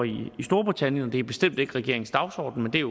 i storbritannien og det er bestemt ikke regeringens dagsorden men det er